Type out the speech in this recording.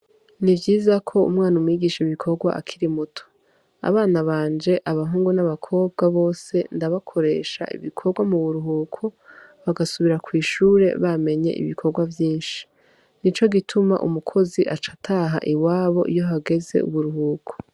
Ni vyiza ko umwana umwigisha ibikorwa akiri muto, abana banje abahungu n'abakobwa bose ndabakoresha ibikorwa mu buruhuko bagasubira kw'ishure bamenye ibikorwa vyinshi, nico gituma umukozi aca ataha iwabo iyo hageze uburuhuko.